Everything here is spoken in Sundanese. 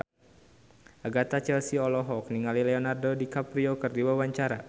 Agatha Chelsea olohok ningali Leonardo DiCaprio keur diwawancara